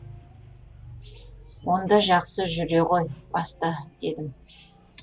онда жақсы жүре ғой баста дедім